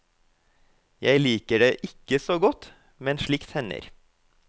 Jeg liker det ikke så godt, men slikt hender.